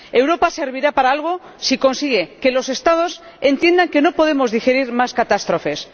Europa servirá para algo si consigue que los Estados entiendan que no podemos digerir más catástrofes.